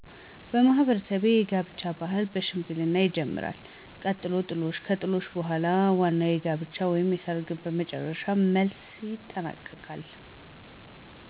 በማህበረሰቤ የጋብቻ ባህል ከሽምግልና ይጀምራል ቀጥሎም ጥሎሽ ከጥሎሽ በኃላም ዋናዉ የጋብቻ ወይም ሰርግ በመጨረሻም በመልስ ይጠናቀቃል።